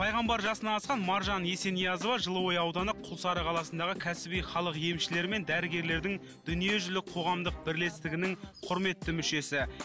пайғамбар жасынан асқан маржан есениязова жылыой ауданы күлсары қаласындағы кәсіби халық емшілері мен дәрігерлердің дүниежүзілік қоғамдық бірлестігінің құрметті мүшесі